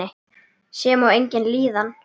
Sem og eigin líðan.